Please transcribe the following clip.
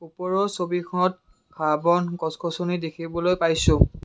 ওপৰৰ ছবিখনত ঘাঁহ বন গছ গছনি দেখিবলৈ পাইছোঁ।